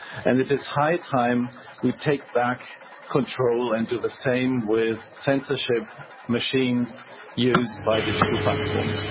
It is high time we take back control and do the same with censorship machines used by digital platforms.